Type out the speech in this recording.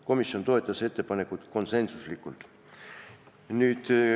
Komisjon toetas ettepanekut konsensuslikult.